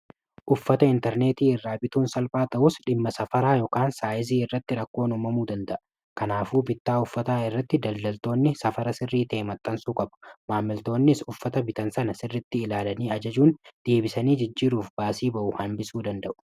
uffata intarneetii irraa bituun salphaa ta'us dhimma safaraa ykn saayizii irratti rakkoon umamuu danda'a kanaafuu bittaa uffataa irratti daldaltoonni safara sirrii ta'e maxxansuu qaba. maammiltoonnis uffata bitan sana sirritti ilaalanii ajajuun deebisaniijijjiiruuf baasii ba'u hambisuu danda'u.